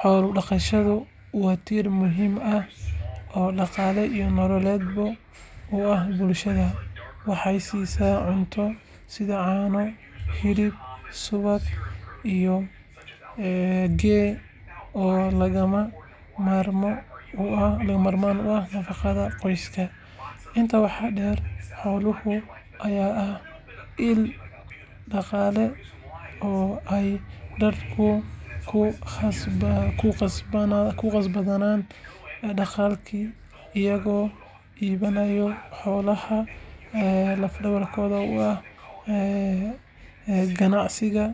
Xoolo-dhaqashadu waa tiir muhiim ah oo dhaqaale iyo nololeed u ah bulshada. Waxay siisaa cunto sida caano, hilib, subag iyo ghee oo lagama maarmaan u ah nafaqada qoyska. Intaa waxaa dheer, xoolaha ayaa ah il dhaqaale oo ay dadka ku kasbadaan dakhliga iyagoo iibinaya xoolaha lafdhabarta u ah ganacsiga